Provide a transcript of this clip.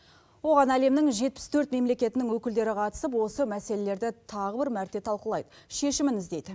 оған әлемнің жетпіс төрт мемлекетінің өкілдері қатысып осы мәселелерді тағы бір мәрте талқылайды шешімін іздейді